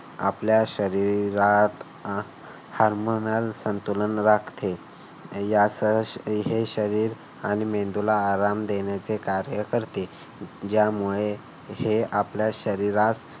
आपल्या शरीरात हार्मोनल संतुलन राखते. असं हे शरीर आणि मेंदूला आयाम देण्याचे कार्य करते. ज्यामुळे आपल्या शरीरास